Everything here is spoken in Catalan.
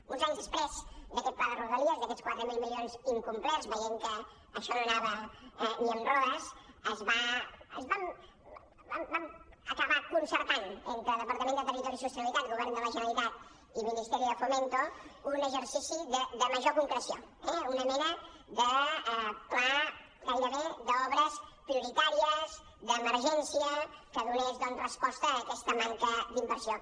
uns anys després d’aquest pla de rodalies d’aquests quatre mil milions incomplerts veient que això no anava ni amb rodes vam acabar concertant entre departament de territori i sostenibilitat govern de la generalitat i ministerio de fomento un exercici de major concreció eh una mena de pla gairebé d’obres prioritàries d’emergència que donés doncs resposta a aquesta manca d’inversió